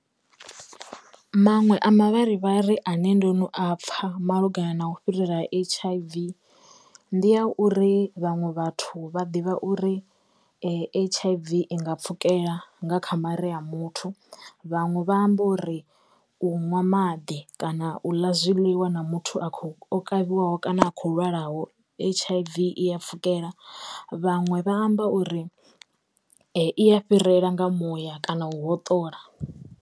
Manwe a mavharivhari ane ndo no a pfha malugana na u fhirela ha H_I_V ndi ya uri vhaṅwe vhathu vha ḓivha uri H_I_V i nga pfhukela nga kha mare a muthu, vhaṅwe vha amba uri u ṅwa maḓi kana u ḽa zwiḽiwa na muthu a kho o kavhiwa ho kana a khou lwalaho H_I_V i ya pfhukela, vhaṅwe vha amba uri iya fhirela nga muya kana u hoṱola.